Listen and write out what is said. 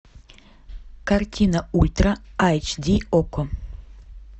картина ультра айч ди окко